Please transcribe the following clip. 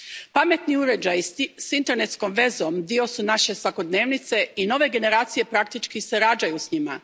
Pametni uređaji s internetskom vezom dio su naše svakodnevice i nove generacije praktički se rađaju s njima.